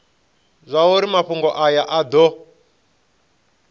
zwauri mafhungo aya a do